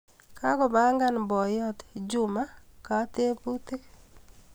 Kakopangan boiyot Juma kateputik.